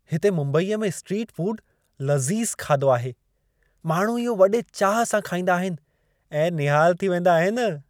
हिते मुंबईअ में स्ट्रीट फूड लज़ीज़ु खाधो आहे। माण्हू इहो वॾे चाह सां खाईंदा आहिनि ऐं निहाल थी वेंदा आहिनि।